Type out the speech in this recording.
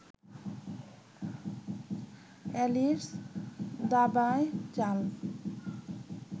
Alice দাবায় চাল